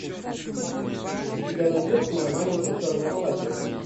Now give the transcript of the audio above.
у тебя найдется мое маленькое черное платье